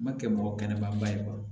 Ma kɛ mɔgɔ kɛnɛba ye fɔlɔ